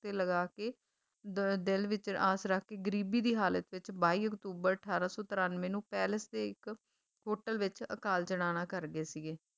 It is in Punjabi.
ਤੇ ਲਗਾਕੇ ਦ ਦਿਲ ਵਿੱਚ ਆਸ ਰੱਖਕੇ ਗਰੀਬੀ ਦੀ ਹਾਲਤ ਵਿੱਚ ਬਾਈ ਅਕਤੂਬਰ ਅਠਾਰਾ ਸੌ ਤਰਾਨਵੇਂ ਨੂੰ ਪੈਰਿਸ ਦੇ ਇੱਕ hotel ਵਿੱਚ ਅਕਾਲ ਚਲਾਣਾ ਕਰ ਗਏ ਸੀਗੇ